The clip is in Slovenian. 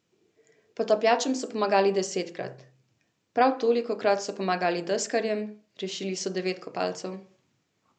Potapljačem so pomagali desetkrat, prav tolikokrat so pomagali deskarjem, rešili so devet kopalcev.